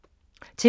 TV 2